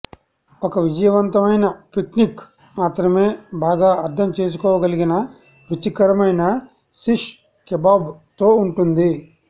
ఒక విజయవంతమైన పిక్నిక్ మాత్రమే బాగా అర్థం చేసుకోగలిగిన రుచికరమైన శిష్ కెబాబ్ తో ఉంటుంది